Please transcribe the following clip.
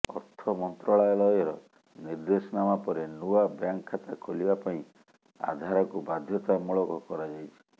ଅର୍ଥ ମନ୍ତ୍ରାଳୟର ନିର୍ଦେଶନାମା ପରେ ନୂଆ ବ୍ୟାଙ୍କ ଖାତା ଖୋଲିବା ପାଇଁ ଆଧାରକୁ ବାଧ୍ୟତାମୂଳକ କରାଯାଇଛି